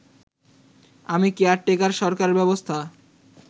আমি কেয়ারটেকার সরকার ব্যবস্থা